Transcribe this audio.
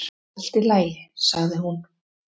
"""Allt í lagi, sagði hún."""